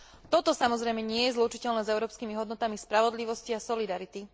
Toto, samozrejme, nie je zlučiteľné s európskymi hodnotami spravodlivosti a solidarity.